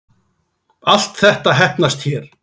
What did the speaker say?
Allt þetta heppnast hér